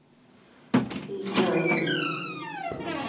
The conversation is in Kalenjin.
Ii ngo inye?